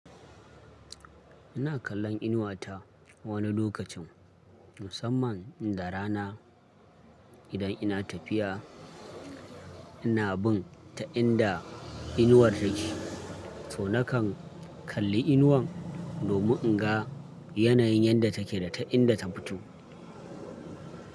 Ina kallon inuwa ta wani lokacin, musamman in da rana. Idan ina tafiya, ina bin ta inda inuwar take. To na kan kalli inuwan domin in ga yanayin yadda take da ta inda ta fito.